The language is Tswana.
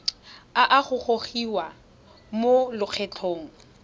a a gogiwang mo lokgethong